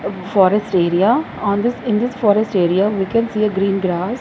forest area on this in this forest area we can see a green grass.